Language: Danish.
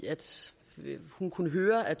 hun kunne høre at